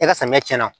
E ka samiyɛ cɛn na